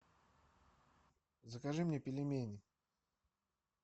закажи мне пельмени